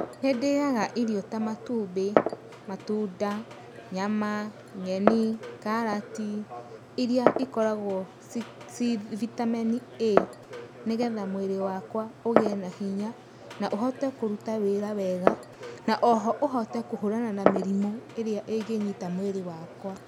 Nĩ ndĩaga irio ta matumbĩ, matunda, nyama, nyeni, karati, iria ikoragwo ci vitamin A, nĩgetha mwĩrĩ wakwa ũgĩe na hinya na ũhote kũruta wĩra wega, na o ho ũhote kũhũrana na mĩrimũ ĩrĩa ĩngĩnyita mwĩrĩ wakwa.